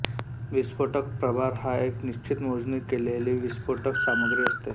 विस्फोटक प्रभार हा एक निश्चित मोजणी केलेली विस्फोटक सामग्री असते